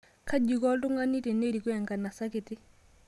Kaji iko oltung'ani tenerikoo enkanasa kiti